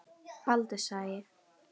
Baldurshagi